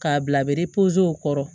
K'a bila bere pozow kɔrɔ